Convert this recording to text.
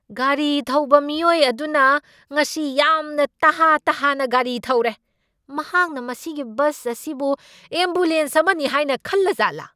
ꯒꯥꯔꯤ ꯊꯧꯕ ꯃꯤꯑꯣꯏ ꯑꯗꯨꯅ ꯉꯁꯤ ꯌꯥꯝꯅ ꯇꯍꯥ ꯇꯍꯥꯅ ꯒꯥꯔꯤ ꯊꯧꯔꯦ꯫ ꯃꯍꯥꯛꯅ ꯃꯁꯤꯒꯤ ꯕꯁ ꯑꯁꯤꯕꯨ ꯑꯦꯝꯕꯨꯂꯦꯟꯁ ꯑꯃꯅꯤ ꯍꯥꯏꯅ ꯈꯟꯖꯠꯂꯥ?